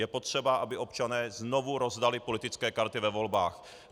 Je potřeba, aby občané znovu rozdali politické karty ve volbách.